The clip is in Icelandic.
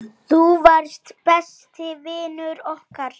Þú varst besti vinur okkar.